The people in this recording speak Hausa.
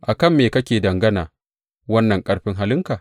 A kan me kake dangana wannan ƙarfin halinka?